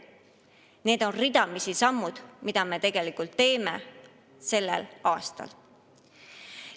Need on sammud, mida me tegelikult teeme sellel aastal.